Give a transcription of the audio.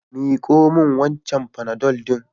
Miko min wancan panadol din.